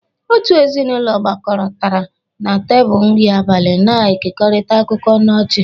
Otu ezinụlọ gbakọtara na tebụl nri abalị, na-ekerịta akụkọ na ọchị.